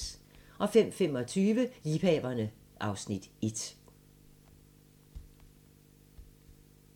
05:25: Liebhaverne (Afs. 1)